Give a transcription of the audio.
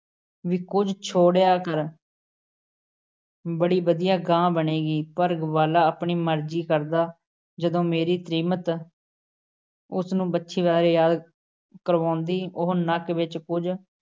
ਵੀ ਕੁਝ ਛੋੜਿਆ ਕਰ । ਬੜੀ ਵਧੀਆ ਗਾਂ ਬਣੇਗੀ। ਪਰ ਗਵਾਲਾ ਆਪਣੀ ਮਰਜ਼ੀ ਕਰਦਾ। ਜਦੋਂ ਮੇਰੀ ਤ੍ਰੀਮਤ ਉਸ ਨੂੰ ਵੱਛੀ ਬਾਰੇ ਯਾਦ ਕਰਵਾਉਂਦੀ, ਉਹ ਨੱਕ ਵਿੱਚ ਕੁਝ